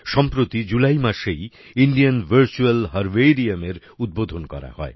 সম্প্রতি জুলাই মাসেই Indian virtual herbariumএর উদবোধণ করা হয়